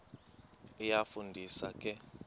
iyafu ndisa ke